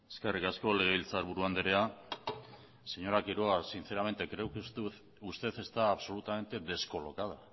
eskerrik asko legebiltzarburu anderea señora quiroga sinceramente creo que usted está absolutamente descolocada